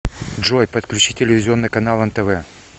джой подключи телевизионный канал нтв